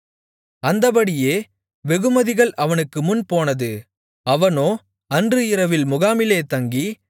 அந்தப்படியே வெகுமதிகள் அவனுக்குமுன் போனது அவனோ அன்று இரவில் முகாமிலே தங்கி